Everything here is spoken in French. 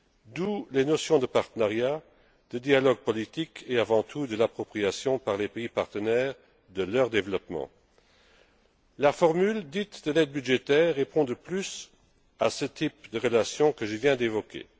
D'où les notions de partenariat, de dialogue politique et, avant tout, d'appropriation par les pays partenaires de leur développement. La formule dite de l'aide budgétaire répond, de plus, au type de relations que je viens d'évoquer.